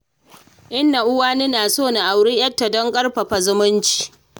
Inna Uwani na so na auri 'yarta don ƙarfafa zumunci.